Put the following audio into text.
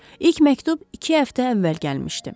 İlk məktub iki həftə əvvəl gəlmişdi.